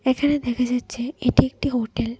এখানে দেখা যাচ্ছে এটি একটি হোটেল ।